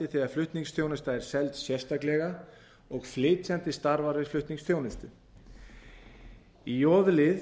þegar flutningsþjónusta er seld sérstaklega og flytjandi starfar við flutningsþjónustu í j lið